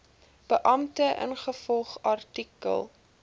beampte ingevolge artikel